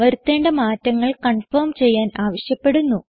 വരുത്തേണ്ട മാറ്റങ്ങൾ കൺഫർം ചെയ്യാൻ ആവശ്യപ്പെടുന്നു